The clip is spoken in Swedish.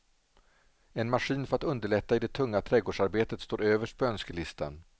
En maskin för att underlätta i det tunga trädgårdsarbetet står överst på önskelistan.